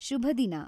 ಶುಭದಿನ!